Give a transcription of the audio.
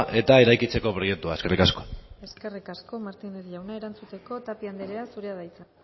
eta eraikitzeko proiektua eskerrik asko eskerrik asko martínez jauna erantzuteko tapia anderea zurea da hitza